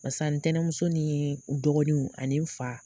Basa ntɛnɛmuso nii n dɔgɔninw ani n fa